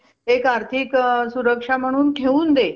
एक आर्थिक अ सुरक्षा म्हणुन ठेवून दे